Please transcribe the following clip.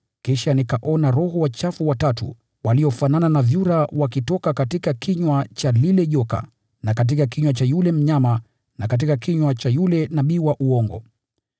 Kisha nikaona roho wachafu watatu waliofanana na vyura wakitoka katika kinywa cha lile joka na katika kinywa cha yule mnyama na katika kinywa cha yule nabii wa uongo.